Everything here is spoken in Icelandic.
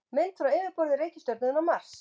Mynd frá yfirborði reikistjörnunnar Mars.